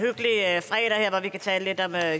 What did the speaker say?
herre